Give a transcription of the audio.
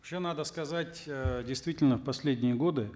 надо сказать э действительно в последние годы